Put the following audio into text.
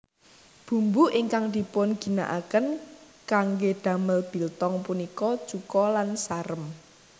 Bumbu ingkang dipunginakaken kanggé damel biltong punika cuka lan sarem